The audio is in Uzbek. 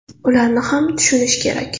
Ularni ham tushunish kerak.